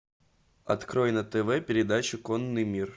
открой на тв передачу конный мир